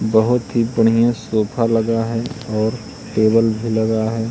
बहोत ही बढ़िया सोफा लगा है और टेबल भी लगा है।